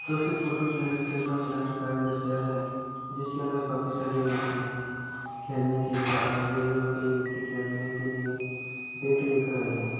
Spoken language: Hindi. दोस्तों इस फोटो में खेल का मैदान दिखाई दे गया है जिसके अंदर काफी सारे व्यक्ति खेलने के लिए आए हुए और कई व्यक्ति खेलने के लिए बैग लेकर आए हैं।